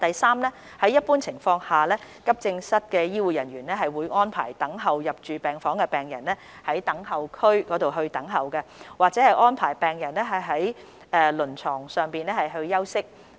三在一般情況下，急症室醫護人員會安排等候入住病房的病人在等候區等候，或安排病人在輪床上休息。